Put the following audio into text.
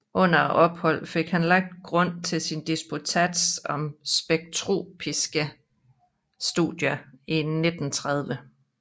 Under opholdet fik han lagt grunden for sin disputats om Spektroskopiske Studier i 1930